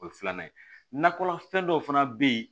O ye filanan ye nakɔfɛn dɔw fana bɛ yen